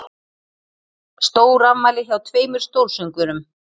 Stórafmæli hjá tveimur stórsöngvurum